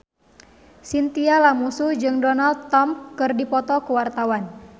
Chintya Lamusu jeung Donald Trump keur dipoto ku wartawan